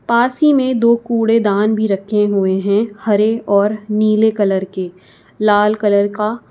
पास ही में दो कूड़ेदान भी रखे हुए हैं हरे और नीले कलर के लाल कलर का--